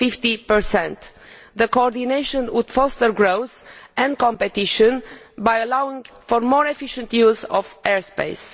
50. The coordination would foster growth and competition by allowing for more efficient use of air space.